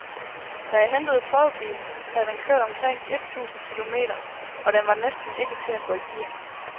Da jeg hentede prøvebilen, havde den kørt omkring et tusind km, og den var næsten ikke til at få i gear.